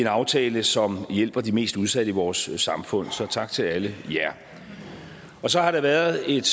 aftale som hjælper de mest udsatte i vores samfund så tak til alle jer og så har der været et